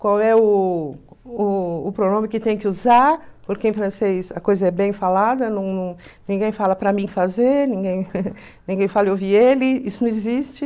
qual é o o o pronome que tem que usar, porque em francês a coisa é bem falada, não não ninguém fala para mim fazer, ninguém ninguém fala eu vi ele, isso não existe.